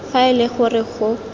fa e le gore go